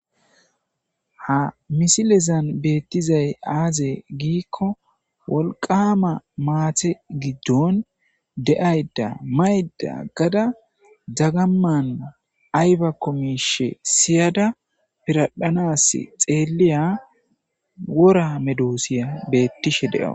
Ha missileza betizay aze gikko woliqama mate gidon deayida mayida agada dagaman ayibakko mishi siyada piradhanasi xeliya wora medosiya betishe de'awus.